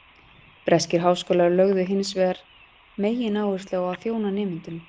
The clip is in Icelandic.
Breskir háskólar lögðu hins vegar megináherslu á að þjóna nemendunum.